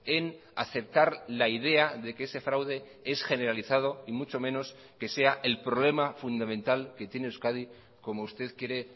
en aceptar la idea de que ese fraude es generalizado y mucho menos que sea el problema fundamental que tiene euskadi como usted quiere